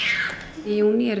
í júní eru